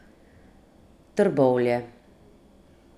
Trbovlje.